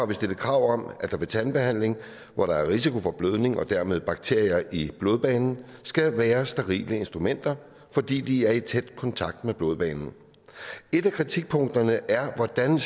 der stillet krav om at der ved tandbehandling hvor der er risiko for blødning og dermed bakterier i blodbanen skal være sterile instrumenter fordi de er i tæt kontakt med blodbanen et af kritikpunkterne er hvordan